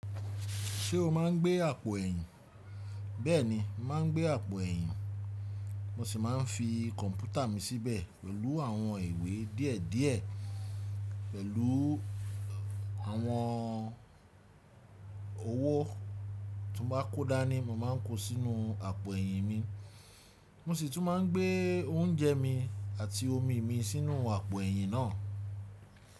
Ṣé o máa ń gbé àpò ẹ̀yìn? Bẹ́ẹ̀ni, máa ń gbé àpò ẹ̀yìn. Mo sì máa ń fi kọ̀ǹpútà mi síbẹ̀ pẹ̀lú àwọn ìwé díẹ̀ díẹ̀. Pẹ̀lú àwọn owó tí mo bá kó dá ní mo máa ń kó sínú àpò ẹ̀yìn mi. Mo sì tún máa ń gbé oúnjẹ mi àti omi mi sínú àpò ẹ̀yìn náà.